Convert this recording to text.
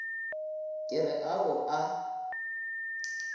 ke re a o a